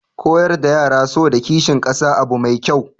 Koyar da yara so da kishin kasa abu mai kyau